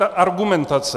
Ta argumentace!